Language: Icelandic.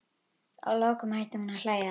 Að lokum hætti hún að hlæja.